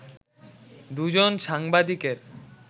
দুজন সাংবাদিকের